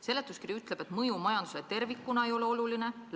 Seletuskiri ütleb, et mõju majandusele tervikuna ei ole oluline.